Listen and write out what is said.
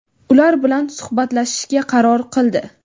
ular bilan suhbatlashishga qaror qildi.